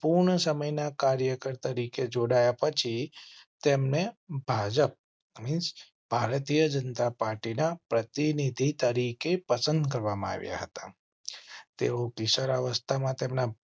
સંપૂર્ણ સમય ના કાર્યકર તરીકે જોડાયા પછી તેમને ભાજપ means ભારતીય જનતા પાર્ટી ના પ્રતિનિધિ તરીકે પસંદ કરવામાં આવ્યા હતા. તેઓ કિશોરાવસ્થા માં તેમના